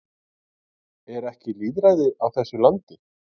Er ekki lýðræði á þessu landi?